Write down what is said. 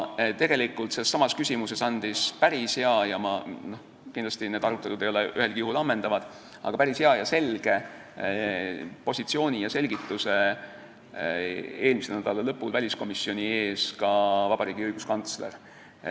Tegelikult andis selles küsimuses päris hea – need arutelud ei ole ühelgi juhul kindlasti ammendavad – ja selge positsiooni ja selgituse eelmise nädala lõpul väliskomisjoni ees ka õiguskantsler.